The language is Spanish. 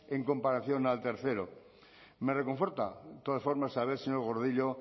en comparación al tercero me reconforta todas formas saber señor gordillo